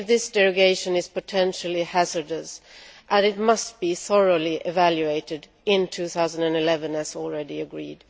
I believe that this derogation is potentially hazardous and that it must be thoroughly evaluated in 2011, as already agreed.